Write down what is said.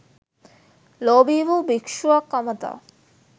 ලෝභී වූ භික්ෂුවක් අමතා